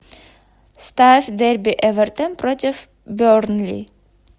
ставь дерби эвертон против бернли